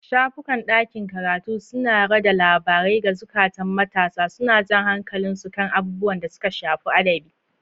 Shafukan ɗakin karatu suna rada labarai ga zukatan matasa, suna jan hankalin su kan abubuwan da suka shafi adabi.